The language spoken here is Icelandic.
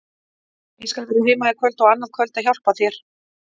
Ég skal vera heima í kvöld og annað kvöld og hjálpa þér.